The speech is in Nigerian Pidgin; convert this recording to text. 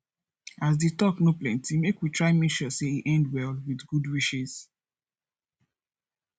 as di talk no plenty make we try make sure say e end well with good wishes